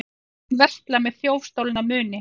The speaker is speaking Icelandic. Talinn versla með þjófstolna muni